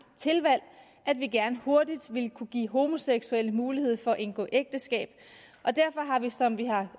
tilvalg at vi gerne hurtigt vil kunne give homoseksuelle mulighed for at indgå ægteskab og derfor har vi som vi har